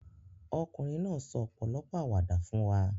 Ọkùnrin náà sọ ọ̀pọ̀lọpọ̀ àwàdà fún wa.